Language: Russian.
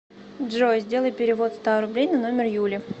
джой сделай перевод ста рублей на номер юли